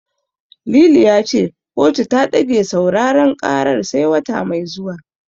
Lili ya ce kotu ta ɗage sauraren karar sai wata mai zuwa.